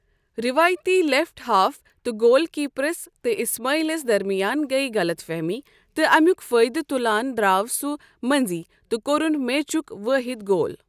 ریوایتی left half تہٕ goal کیٖپرَس تہٕ اِسماعیلس درمِیان گٔیہٕ غَلط فہمی، تہٕ اَمیُک فٲیدٕ تُلان درٛاو سُہ مٔنٛزۍ تہٕ کوٚرُن میچُک وٲحِد گول ۔